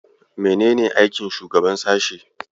Menene aikin shugaban sashe?